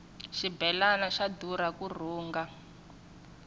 xibelani xa durha ku rhunga